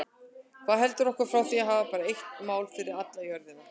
Hvað heldur okkur frá því að hafa bara eitt mál fyrir alla jörðina?